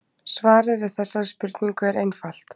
Svarið við þessari spurningu er einfalt.